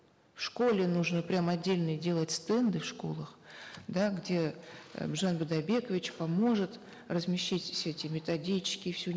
в школе нужно прямо отдельные делать стенды в школах да где э біржан бидайбекович поможет разместить все эти методички всю